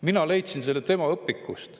Mina leidsin selle tema õpikust.